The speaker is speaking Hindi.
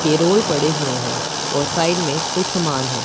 के रोल पड़े हुए हैं और साइड में कोई समान है।